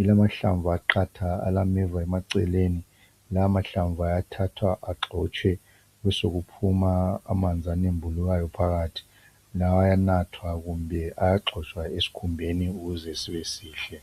ilamahlamvu amqatha alameva eceleni lamahlamvu ayathathwa agxotshwe besokuphuma amanzi anembulukayo phakathi lawo ayanathwa kumbe ayagcotshwa esikhumbeni ukuze sibe sihle